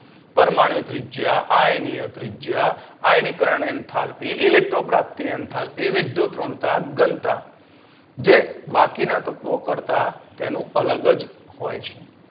પરમણીય ત્રિજ્યા આયનીય ત્રિજ્યા આયનીકરણ એન્થાલપી Electron પ્રાપ્તિ એન્થાલપી વિદ્યુતઋણતા ઘનતા તે બાકીના તત્વો કરતાં તેનું અલગ જ હોય છે